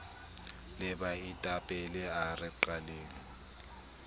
le baetapele a re qaleng